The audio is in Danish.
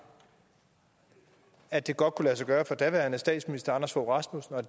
at det godt kunne lade sig gøre for daværende statsminister anders fogh rasmussen og